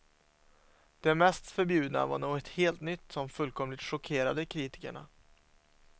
Det mest förbjudna var något helt nytt som fullkomligt chockerade kritikerna.